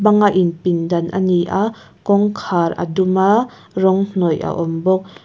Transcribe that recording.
banga in pindan a ni a kawngkhar a dum a rawng hnawih a awm bawk.